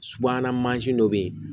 Subahana mansin dɔ bɛ yen